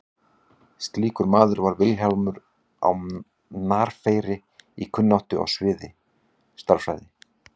slíkur maður var vilhjálmur á narfeyri í kunnáttu á sviði stærðfræði